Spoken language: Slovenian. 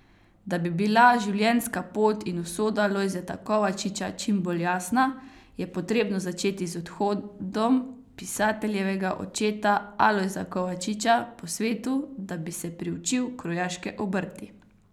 Da bi bila življenjska pot in usoda Lojzeta Kovačiča čim bolj jasna, je potrebno začeti z odhodom pisateljevega očeta Alojza Kovačiča po svetu, da bi se priučil krojaške obrti.